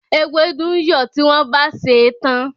Ewédú ń yọ̀ tí wọ́n bá sèé tán.